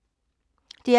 DR P2